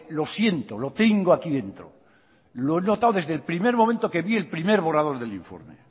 lo siento lo tengo aquí dentro lo he notado desde el primer momento que vi el primer borrador del informe